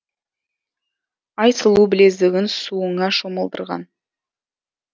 ай сұлу білезігін суыңа шомылдырған